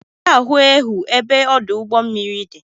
Ị ga-eje ahụ ehu ebe ọdụụgbọ mmiri di?